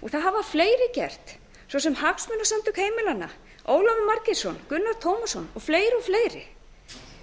og það hafa fleiri gert svo sem hagsmunasamtök heimilanna ólafur margeirsson gunnar tómasson og fleiri og fleiri